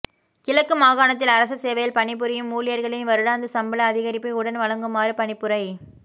கிழக்கு மாகாணத்தில் அரச சேவையில்பணிபுரியும் ஊழியர்களின் வருடாந்த சம்பளஅதிகரிப்பை உடன் வழங்குமாறு பணிப்புரை